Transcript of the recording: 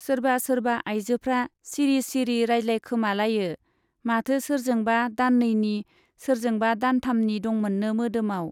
सोरबा सोरबा आइजोफ्रा सिरि सिरि रायज्लायखोमालायो - माथो सोरजोंबा दाननैनि , सोरजोंबा दानथामनि दंमोननो मोदोमाव।